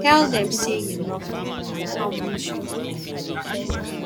tell dem sey you love them and how much you love them